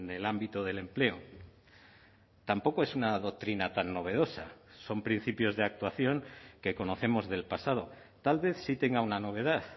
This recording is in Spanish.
el ámbito del empleo tampoco es una doctrina tan novedosa son principios de actuación que conocemos del pasado tal vez sí tenga una novedad